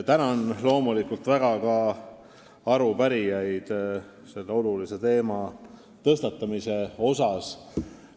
Tänan loomulikult väga ka arupärijaid selle olulise teema tõstatamise osas!